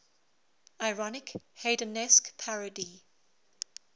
ironic haydnesque parody